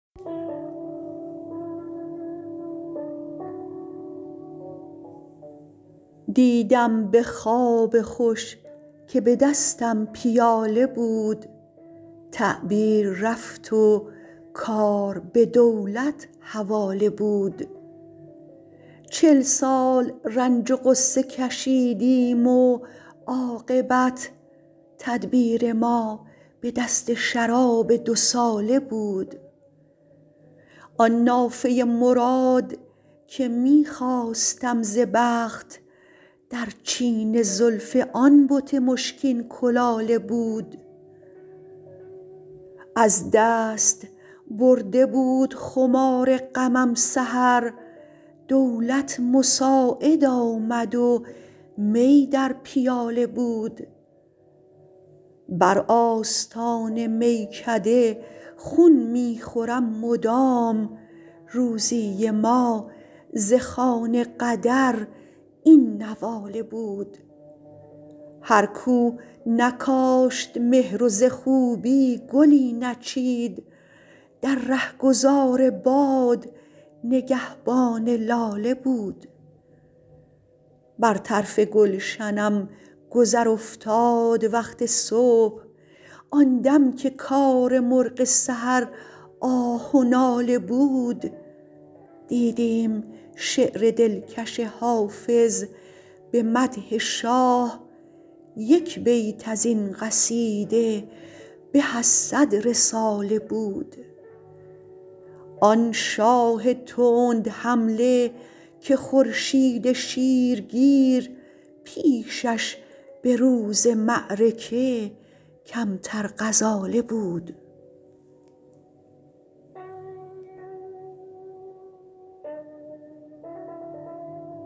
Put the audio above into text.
دیدم به خواب خوش که به دستم پیاله بود تعبیر رفت و کار به دولت حواله بود چل سال رنج و غصه کشیدیم و عاقبت تدبیر ما به دست شراب دوساله بود آن نافه مراد که می خواستم ز بخت در چین زلف آن بت مشکین کلاله بود از دست برده بود خمار غمم سحر دولت مساعد آمد و می در پیاله بود بر آستان میکده خون می خورم مدام روزی ما ز خوان قدر این نواله بود هر کو نکاشت مهر و ز خوبی گلی نچید در رهگذار باد نگهبان لاله بود بر طرف گلشنم گذر افتاد وقت صبح آن دم که کار مرغ سحر آه و ناله بود دیدیم شعر دلکش حافظ به مدح شاه یک بیت از این قصیده به از صد رساله بود آن شاه تندحمله که خورشید شیرگیر پیشش به روز معرکه کمتر غزاله بود